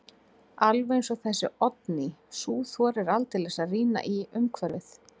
Alveg eins og þessi Oddný, sú þorir aldeilis að rýna í umhverfið.